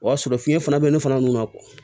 O y'a sɔrɔ fiɲɛ fana bɛ ne fana n'o ma